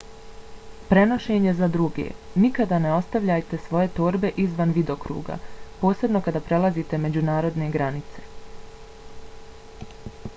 prenošenje za druge - nikada ne ostavljajte svoje torbe izvan vidokruga posebno kada prelazite međunarodne granice